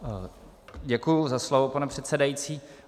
Děkuju za slovo, pane předsedající.